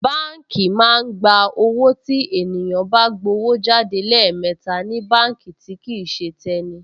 Báǹkì máa ń gba owó tí ènìyàn bá gbówó jáde lẹ́ẹ̀mẹta ní báǹkì tí kìí ṣe tẹni